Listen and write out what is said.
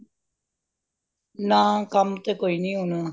ਨਾ ਕੱਮ ਤੇ ਕੋਈ ਨਹੀਂ ਹੁਣ